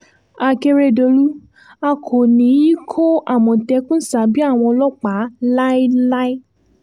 àkèrèdòlú a kò ní í kó àmọ̀tẹ́kùn sábẹ́ àwọn ọlọ́pàá láéláé